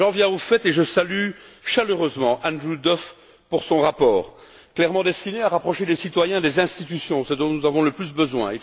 J'en viens au fait et je salue chaleureusement Andrew Duff pour son rapport, clairement destiné à rapprocher les citoyens des institutions ce dont nous avons le plus besoin.